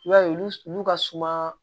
I b'a ye olu ka suma